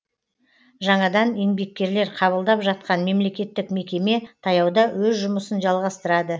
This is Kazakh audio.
жаңадан еңбеккерлер қабылдап жатқан мемлекеттік мекеме таяуда өз жұмысын жалғастырады